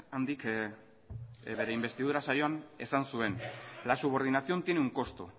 handik bere inbestidura saioan esan zuen la subordinación tiene un costo